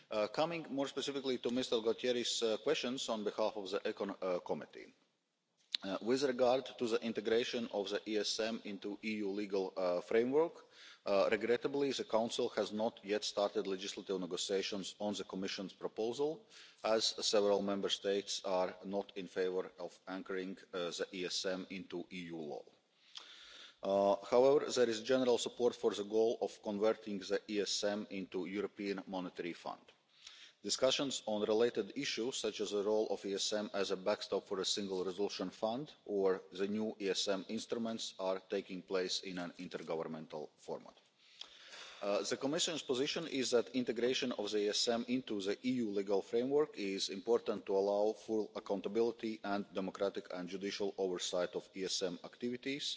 Coming more specifically to Mr Gualtieri's questions on behalf of the Committee on Economic and Monetary Affairs with regard to the integration of the ESM into the EU legal framework, regrettably the Council has not yet started legislative negotiations on the Commission's proposal, as several Member States are not in favour of anchoring the ESM in EU law. However, there is general support for the goal of converting the ESM into the European Monetary Fund. Discussions on related issues, such as the role of the ESM as a backstop for a Single Resolution Fund or the new ESM instruments, are taking place in an intergovernmental format. The Commission's position is that integration of the ESM into the EU legal framework is important to allow full accountability and democratic and judicial oversight of ESM activities,